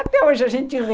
Até hoje a gente ri.